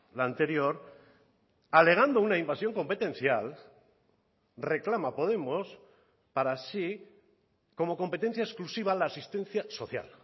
la anterior alegando una invasión competencial reclama podemos para sí como competencia exclusiva la asistencia social